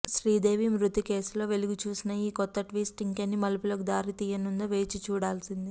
శ్రీదేవి మృతి కేసులో వెలుగుచూసిన ఈ కొత్త ట్విస్ట్ ఇంకెన్ని మలుపులకు దారితీయనుందో వేచిచూడాల్సిందే